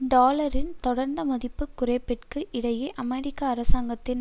டாலரின் தொடர்ந்த மதிப்பு குறைப்பிற்கு இடையே அமெரிக்க அரசாங்கத்தின்